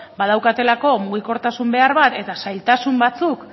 badaukatelako mugikortasun behar bat eta zailtasun batzuk